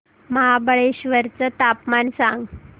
महाबळेश्वर चं तापमान सांग